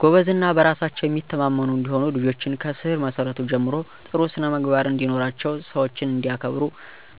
ጎበዝ እና በራሳቸው የሚተማመኑ እንዲሆኑ ልጆችን ከስር መሰረቱ ጀምሮ ጥሩ ስነምግባርን እንዲኖራቸው ሰዎችን እንዲያከብሩ